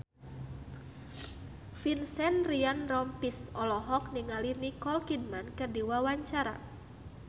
Vincent Ryan Rompies olohok ningali Nicole Kidman keur diwawancara